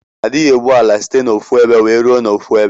Adighi ebu ala site na ofu ebe wee rue na ofuebe.